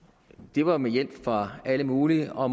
det var med hjælp fra alle mulige og